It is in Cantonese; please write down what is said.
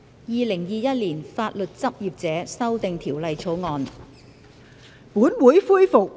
《2021年法律執業者條例草案》。